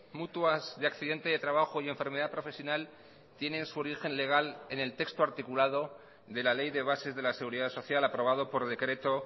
mutuas de accidente de trabajo y enfermedad profesional tienen su origen legal en el texto articulado de la ley de bases de la seguridad social aprobado por decreto